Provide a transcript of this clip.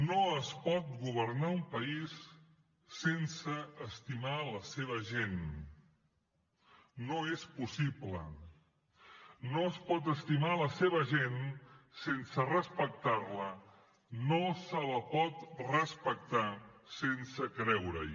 no es pot governar un país sense estimar la seva gent no és possible no es pot estimar la seva gent sense respectar la no se la pot respectar sense creure hi